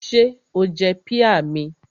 Ṣé o jẹ píà mi?